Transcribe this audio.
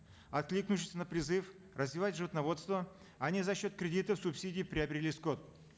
откликнувшись на призыв развивать животноводство они за счет кредитов субсидий приобрели скот